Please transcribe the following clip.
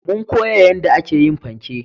Mun koya yanda a ke yin fanke